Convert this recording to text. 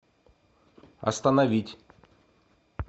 остановить